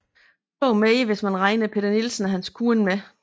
To mere hvis man regner Peter Nielsen og hans kone med